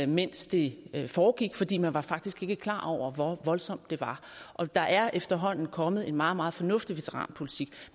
mens det foregik fordi man faktisk ikke var klar over hvor voldsomt det var og der er efterhånden kommet en meget meget fornuftig veteranpolitik